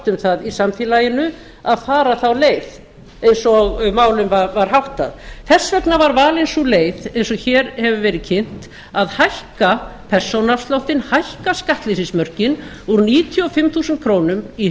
um það í samfélaginu að fara þá leið eins og málum var háttað þess vegna var valin sú leið eins og hér hefur verið kynnt að hækka persónuafsláttinn hækka skattleysismörkin úr níutíu og fimm þúsund krónur í